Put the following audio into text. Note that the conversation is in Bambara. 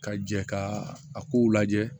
Ka jɛ ka a kow lajɛ